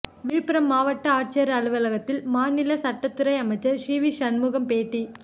விழுப்புரம் மாவட்ட ஆட்சியர் அலுவலகத்தில் மாநில சட்டத்துறை அமைச்சர் சிவி சண்முகம் பேட்டி